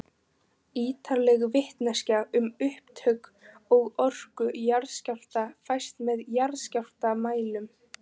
Ýtarleg vitneskja um upptök og orku jarðskjálfta fæst með jarðskjálftamælum.